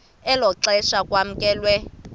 elo xesha kwamkelwe